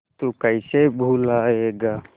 तू कैसे भूलाएगा